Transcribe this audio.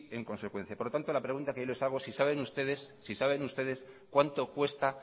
en consecuencia por lo tanto la pregunta que yo les hago si saben ustedes cuánto cuesta